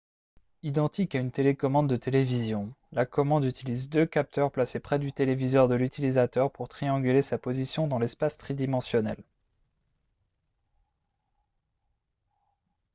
identique à une télécommande de télévision la commande utilise deux capteurs placés près du téléviseur de l'utilisateur pour trianguler sa position dans l'espace tridimensionnel